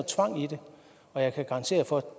tvang i det og jeg kan garantere for